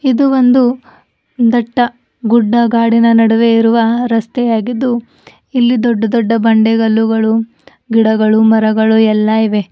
ಇದು ಒಂದು ದಟ್ಟ ಗುಡ್ಡ ಗಾಡಿನ ನಡುವೆ ಇರುವ ರಸ್ತೆಯಾಗಿದ್ದು ಇಲ್ಲಿ ದೊಡ್ಡ ದೊಡ್ಡ ಬಂಡೆಗಲ್ಲುಗಳು ಗಿಡಗಳು ಮರಗಳು ಎಲ್ಲಾ ಇವೆ.